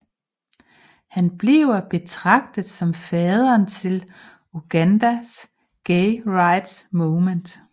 Han bliver betragtet som faderen til Ugandas gay rights movement